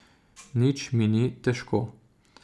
Nič mi ni težko.